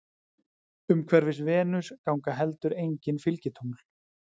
Umhverfis Venus ganga heldur engin fylgitungl.